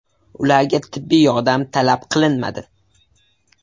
Ularga tibbiy yordam talab qilinmadi.